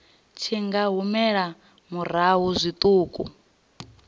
tshi nga humela murahu zwiṱuku